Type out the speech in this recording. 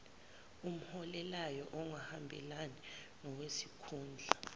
omholelayo ongahambelani nowesikhundla